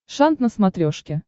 шант на смотрешке